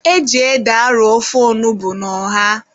E ji ede arọ ofe onugbu na ọha.